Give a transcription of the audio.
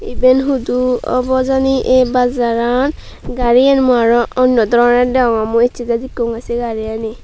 iben hudu obw jani ei bazaraan gaarian muiaro onyo doronor degongey mui essey tei dekkongey sei gaariani.